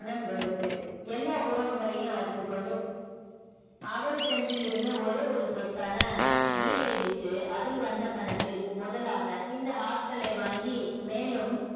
நம் கருத்து எல்லா உறவுகளையும் அறுத்துக்கொண்டு அவருக்கென்று இருந்த ஒரே ஒரு சொத்தான வீட்டை வித்து அதில் வந்த பணத்தில் முதலாக இந்த hostel லை வாங்கி மேலும்